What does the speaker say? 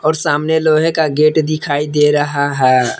और सामने लोहे का गेट दिखाई दे रहा है।